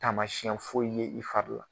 Taamasiɲɛn foyi ye i fari la